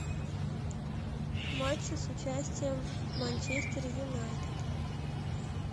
матчи с участием манчестер юнайтед